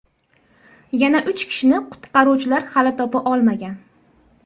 Yana uch kishini qutqaruvchilar hali topa olmagan.